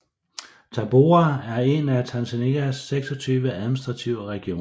Tabora er en af Tanzanias 26 administrative regioner